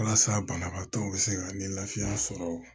Walasa banabaatɔw bɛ se ka ni lafiya sɔrɔ